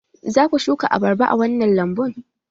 Za ku shuka abarba a wannan lambun?